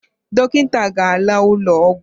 Dọkịta ga-anọ n'ụlọ ọgwụ